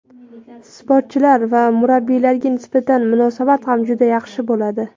sportchilar va murabbiylarga nisbatan munosabat ham juda yaxshi bo‘ladi.